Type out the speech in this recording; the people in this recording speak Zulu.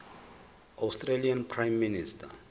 australian prime minister